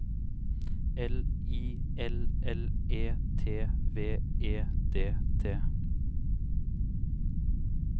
L I L L E T V E D T